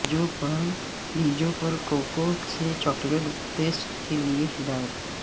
بیجوں پر کوکو سے chocolate paste کے لئے ہدایت